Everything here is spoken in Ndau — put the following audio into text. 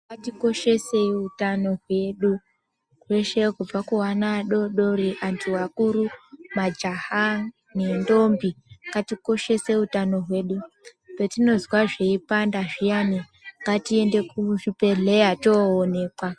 Ngatikoshesei utano hwedu ,hweshe kubva kuana adodori, anthu akuru, majaha, nendombi. Ngatikoshese utano hwedu. Patinozwa zveipanda zviyani, ngatiende kuzvibhedhleya toonekwa.